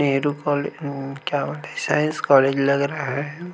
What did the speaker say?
निरुपाल हां क्या science college लग रहा हे।